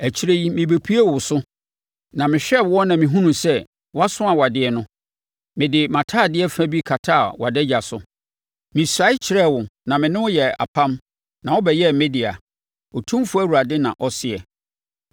“ ‘Akyire yi mebɛpuee wo so, na mehwɛɛ woɔ na mehunuu sɛ woaso awadeɛ no, mede mʼatadeɛ fa bi kataa wʼadagya so. Mesuae kyerɛɛ wo na mene wo yɛɛ apam na wobɛyɛɛ me dea, Otumfoɔ Awurade na ɔseɛ.